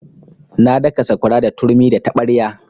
Na daka sakwara da turmi da taɓarya.